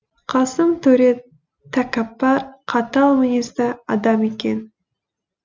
қасым төре тәкаппар қатал мінезді адам екен